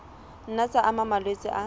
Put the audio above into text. nna tsa ama malwetse a